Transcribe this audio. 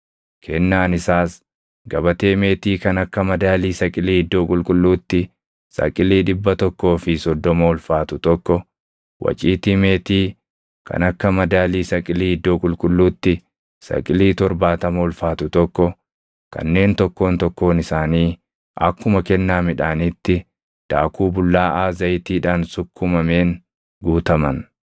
Kennaan isaas gabatee meetii kan akka madaalii saqilii iddoo qulqulluutti saqilii dhibba tokkoo fi soddoma ulfaatu tokko, waciitii meetii kan akka madaalii saqilii iddoo qulqulluutti saqilii torbaatama ulfaatu tokko kanneen tokkoon tokkoon isaanii akkuma kennaa midhaaniitti daakuu bullaaʼaa zayitiidhaan sukkumameen guutaman,